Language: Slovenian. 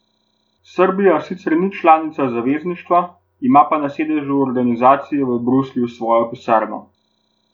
Srbija sicer ni članica zavezništva, ima pa na sedežu organizacije v Bruslju svojo pisarno.